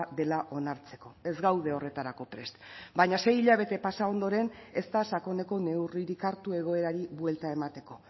dela onartzeko ez gaude horretarako prest baina sei hilabete pasa ondoren ez da sakoneko neurririk hartu egoerari buelta emateko